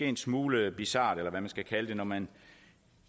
en smule bizart eller hvad man skal kalde det når man